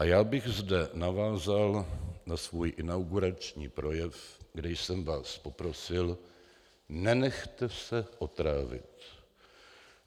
A já bych zde navázal na svůj inaugurační projev, kde jsem vás poprosil: Nenechte se otrávit.